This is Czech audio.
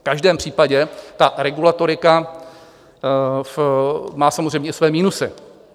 V každém případě ta regulatorika má samozřejmě i své minusy.